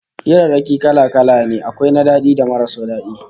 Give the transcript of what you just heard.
Hirarraki kala-kala ne, akwai na daɗi da marasu daɗi